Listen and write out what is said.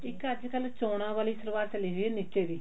ਇੱਕ ਅੱਜਕਲ ਚੋਣਾਂ ਵਾਲੀ ਸਲਵਾਰ ਚੱਲੀ ਹੋਈ ਆ ਨੀਚੇ ਜੀ